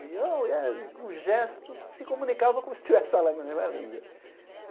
E ou e é e com gestos, se comunicava como se estivesse falando a mesma língua.